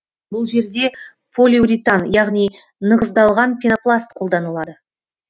бұл жерде полиуритан яғни нығыздалған пенопласт қолданылады